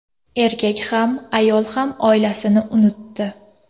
Erkak ham, ayol ham oilasini unutdi.